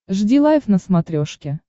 жди лайв на смотрешке